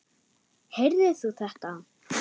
Heyrðir þú þetta?